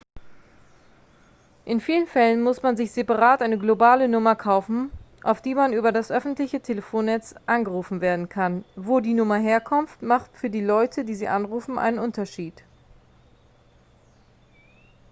in vielen fällen muss man sich separat eine globale nummer kaufen auf die man über das öffentliche telefonnetz angerufen werden kann wo die nummer herkommt macht für die leute die sie anrufen einen unterschied